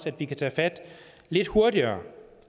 at vi kan tage fat lidt hurtigere